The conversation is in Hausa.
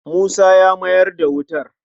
Musa ya mayar da wutar.